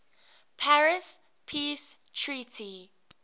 paris peace treaty